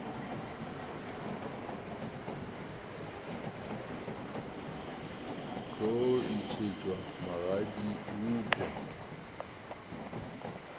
tlo ntšhetšwa magadi eupša ka